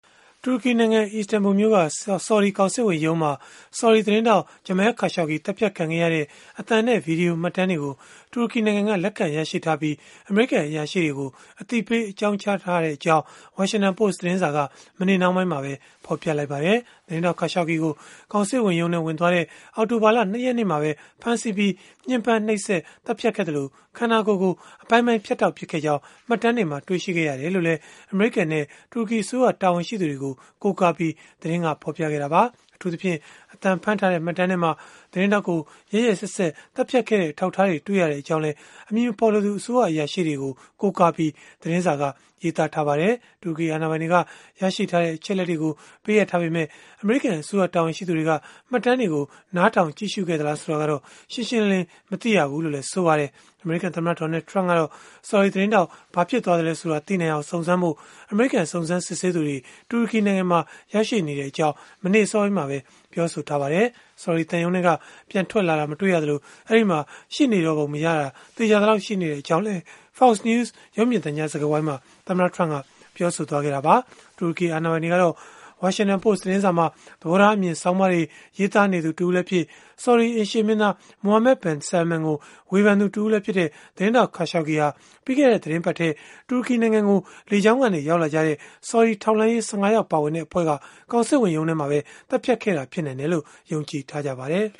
တူရကီနိုင်ငံ အီစတန်ဘူမြို့က ဆော်ဒီကောင်စစ်ဝန်ရုံးမှာ ဆော်ဒီသတင်းထောက် Jamal Khashoggi သတ်ဖြတ်ခံခဲ့ရတဲ့ အသံနဲ့ ဗွီဒီယို မှတ်တမ်းတွေကို တူရကီနိုင်ငံက လက်ခံရရှိထားပြီး အမေရိကန် အရာရှိတွေကို အသိပေး အကြောင်းကြားထားကြောင်း Washington Post သတင်းစာက မနေ့နှောင်းပိုင်းမှာပဲ ဖော်ပြလိုက်ပါတယ်။ သတင်းထောက် Khashoggi ကို ကောင်စစ်ဝန်ရုံးထဲ ဝင်သွားတဲ့ အောက်တိုဘာလ ၂ ရက်နေ့မှာပဲ ဖမ်းဆီးပြီး၊ ညှင်းပမ်းနှိပ်စက်၊ သတ်ဖြတ်ခဲ့သလို၊ ခန္ဓာကိုယ်ကို အပိုင်းပိုင်းဖြတ်တောက် ပစ်ခဲ့ကြောင်း မှတ်တမ်းတွေမှာ တွေ့ရှိခဲ့ရတယ်လို့လည်း အမေရိကန်နဲ့ တူရကီအစိုးရ တာဝန်ရှိသူတွေကို ကိုးကားပြီး သတင်းကဖော်ပြခဲ့တာပါ။ အထူးသဖြင့် အသံဖမ်းထားတဲ့ မှတ်တမ်းထဲမှာ သတင်းထောက်ကို ရက်ရက်စက်စက် သတ်ဖြတ်ခဲ့တဲ့ အထောက်အထားတွေ တွေ့ရကြောင်းလည်း အမည်မဖော်လိုသူ အစိုးရအရာရှိတွေကို ကိုးကားပြီး သတင်းစာက ရေးသားထားပါတယ်။ တူရကီ အာဏာပိုင်တွေက ရရှိထားတဲ့ အချက်အလက်တွေကို ပေးအပ်ထားပေမဲ့ အမေရိကန် အစိုးရ တာဝန်ရှိသူတွေက မှတ်တမ်းတွေကို နားထောင် ကြည့်ရှုခဲ့သလား ဆိုတာကတော့ ရှင်းရှင်းလင်းလင်း မသိရဘူးလို့လည်း ဆိုပါတယ်။ အမေရိကန်သမ္မတ Donald Trump ကတော့ ဆော်ဒီသတင်းထောက် ဘာဖြစ်သွားသလဲဆိုတာ သိနိုင်အောင် စုံစမ်းဖို့ အမေရိကန် စုံစမ်းစစ်ဆေးသူတွေ တူရကီနိုင်ငံမှာ ရောက်ရှိနေကြောင်း မနေ့အစောပိုင်းမှာပဲ ပြောဆိုထားပါတယ်။ ဆော်ဒီသံရုံးထဲက ပြန်ထွက်လာတာ မတွေ့ရသလို၊ အဲဒီမှာ ရှိပုံမရတော့တာ သေချာသလောက် ရှိတဲ့အကြောင်းလည်း Fox News ရုပ်မြင်သံကြား စကားဝိုင်းမှာ သမ္မတ Trump က ပြောဆိုခဲ့တာပါ။ တူရကီအာဏာပိုင်တွေကတော့ Washington Post သတင်းစာမှာ သဘောထားအမြင် ဆောင်းပါးတွေ ရေးသားနေသူ တဦးလည်းဖြစ် ဆော်ဒီအိမ်ရှေ့မင်းသား Mohammed bin Salman ကို ဝေဖန်သူတဦးလည်းဖြစ်တဲ့ သတင်းထောက် Khashoggi ဟာ ပြီးခဲ့တဲ့ သီတင်းပတ်ထဲ တူရကီနိုင်ငံကို လေကြောင်းကနေ ရောက်လာကြတဲ့ ဆော်ဒီထောက်လှမ်းရေး ၁၅ ယောက် ပါဝင်တဲ့ အဖွဲ့က ကောင်စစ်ဝန်ရုံးမှာပဲ သတ်ဖြတ်ခဲ့တာ ဖြစ်နိုင်တယ်လို့ ယုံကြည်ထားကြပါတယ်